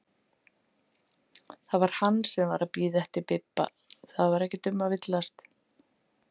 Það var hann sem var að bíða eftir Bibba, það var ekki um að villast!